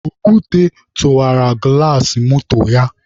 Okwute tụwara gụlas moto ya.